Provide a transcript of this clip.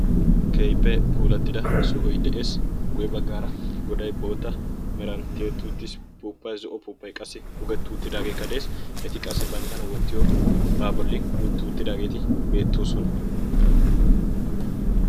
kehippee puulattida sohoy de7ees guwe baggaara godai boota meranttietutiis puuppai zo7o puuppai qassi pugettuuttidaagee ka de7es eti qassi banttana wottiyo baa bolli utti uuttidaageeti beettoosona